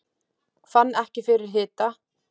Fann ekki fyrir hita